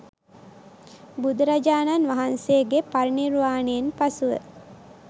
බුදුරජාණන් වහන්සේගේ පරිනිර්වාණයෙන් පසුව